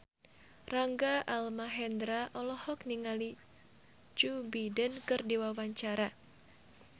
Rangga Almahendra olohok ningali Joe Biden keur diwawancara